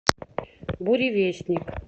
буревестник